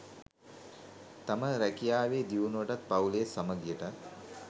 තම රැකියාවේ දියුණුවටත් පවු‍ලේ සමගියටත්